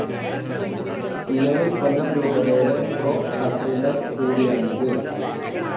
നിലവിൽ കൊല്ലം രൂപതയുടെ pro cathedral കൂടിയാണിത്.